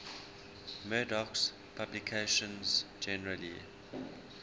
murdoch's publications generally